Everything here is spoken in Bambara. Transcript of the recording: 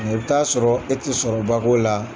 i bɛ t'a sɔrɔ e tɛ sɔrɔba k'o la.